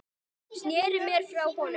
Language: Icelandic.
Sneri mér frá honum.